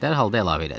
Dərhal da əlavə elədi.